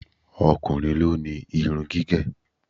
O̩kùnrin ló ni irun gígè̩.